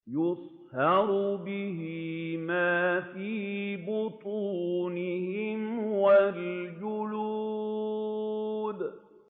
يُصْهَرُ بِهِ مَا فِي بُطُونِهِمْ وَالْجُلُودُ